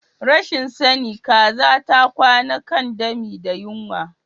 Rashin sani kaza ta kwana kan dami da yunwa.